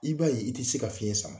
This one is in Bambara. I b' a ye i ti se ka fiɲɛ sama.